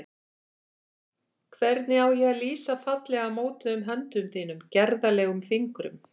Hvernig á ég að lýsa fallega mótuðum höndum þínum, gerðarlegum fingrum?